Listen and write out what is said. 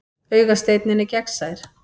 Augasteinninn er gegnsær.